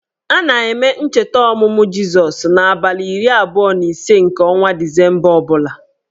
A na-eme ncheta ọmụmụ Jizọs n' abalị iri abụọ na ise nke ọnwa disemba ọbụla